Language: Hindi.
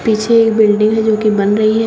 पीछे एक बिल्डिंग है जो की बन रही है।